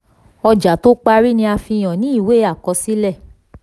ọjà tó parí ni a fi hàn ní ìwé àkọsílẹ̀.